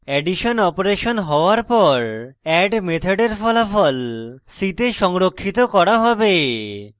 addition operation হওয়ার পর add মেথডের ফলাফল c the সংরক্ষিত করা হবে